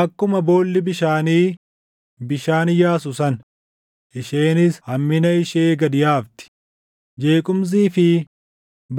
Akkuma boolli bishaanii bishaan yaasu sana, isheenis hammina ishee gad yaafti; jeequmsii fi